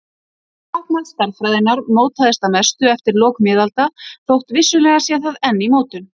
Táknmál stærðfræðinnar mótaðist að mestu eftir lok miðalda þótt vissulega sé það enn í mótun.